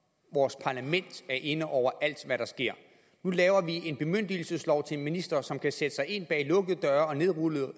vores parlament er inde over alt hvad der sker nu laver vi en bemyndigelseslov til en minister som kan sætte sig ind bag lukkede døre og nedrullede